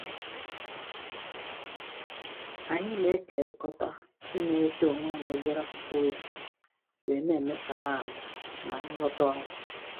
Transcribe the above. Anyị na-ekerikọta inyerịta onwe anyị obere akwụkwọ ozi wee na-emesara ahụ ma anyị lọta ọrụ